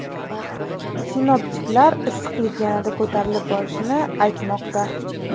Sinoptiklar issiqlik yanada ko‘tarilib borishini aytmoqda.